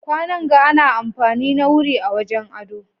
kwanan ga ana amfani na wuri a wajen ado